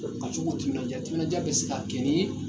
Ka cogo u timinanja timinanja bɛ se ka kɛ ni